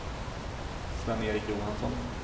Sven-Erik Johansson